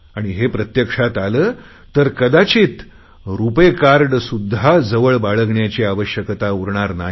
आणि हे प्रत्यक्षात आले तर कदाचित रुपे कार्डसुध्दा जवळ बाळगण्याची आवश्यकता उरणार नाही